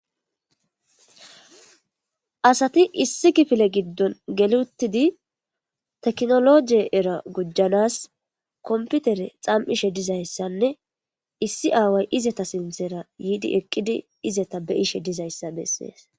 Asati issi kifile gidn geli utidi technology era gujanas computer xam'ishshe dizayssanne issi away izeta sinththara de'izayssa besses